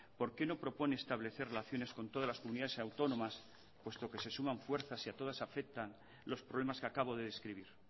por qué no propone establecer relaciones con todas las comunidades autónomas puesto que se suman fuerzas y a todas afectan los problemas que acabo de describir